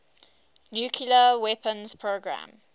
nuclear weapons program